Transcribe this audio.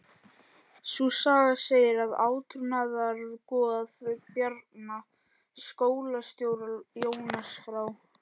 Sú saga segir að átrúnaðargoð Bjarna skólastjóra, Jónas frá